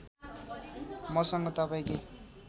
मसँग तपाईँ के